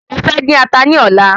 Mo fẹ́ dín ata ní ọlá